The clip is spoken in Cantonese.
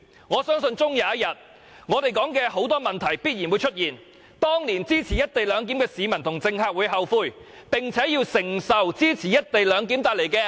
我相信終有一天，我們提出的種種問題必然會出現，而支持"一地兩檢"的市民和政客也會後悔，並且要承受支持"一地兩檢"所帶來的共孽。